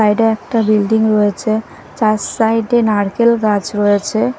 বাইরে একটা বিল্ডিং রয়েছে চার সাইড -এ নারকেল গাছ রয়েছে।